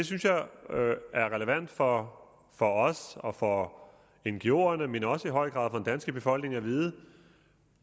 er relevant for for os og for ngoerne men også i høj grad for den danske befolkning at vide